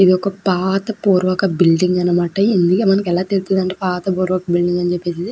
ఇది ఒక పాత పూర్వక బిల్డింగ్ అనమాట. ఇది ఎలా తెలుస్తుంది పాత పూర్వక బిల్డింగ్ అని --